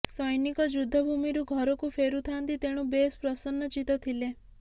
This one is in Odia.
ସୈନିକ ଯୁଦ୍ଧଭୂମିରୁ ଘରକୁ ଫେରୁଥାନ୍ତି ତେଣୁ ବେଶ୍ ପ୍ରସନ୍ନଚିତ୍ତ ଥିଲେ